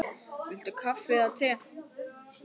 Viltu kaffi eða te?